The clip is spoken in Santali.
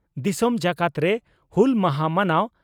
ᱫᱤᱥᱚᱢ ᱡᱟᱠᱟᱛᱨᱮ ᱦᱩᱞ ᱢᱟᱦᱟ ᱢᱟᱱᱟᱣ